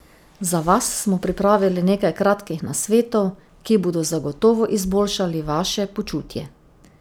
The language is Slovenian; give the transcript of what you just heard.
Za vas smo pripravili nekaj kratkih nasvetov, ki bodo zagotovo izboljšali vaše počutje!